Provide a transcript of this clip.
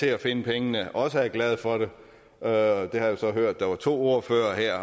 til at finde pengene også er glade for det og det har jeg så hørt der var to ordførere her